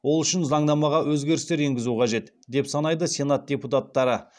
ол үшін заңнамаға өзгерістер енгізу қажет деп санайды сенат депутаттары